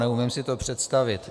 Neumím si to představit.